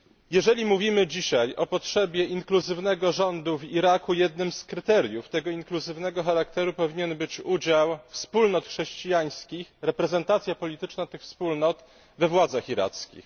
Jeżeli mówimy dzisiaj o potrzebie inkluzywnego rządu w Iraku, jednym z kryteriów tego inkluzywnego charakteru powinien być udział wspólnot chrześcijańskich, reprezentacja polityczna tych wspólnot we władzach irackich.